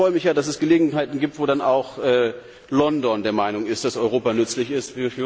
Aber ich freue mich ja, dass es Gelegenheiten gibt, bei denen dann auch London der Meinung ist, dass Europa nützlich ist.